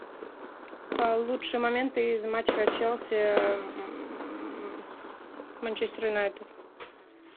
лучшие моменты из матча челси манчестер юнайтед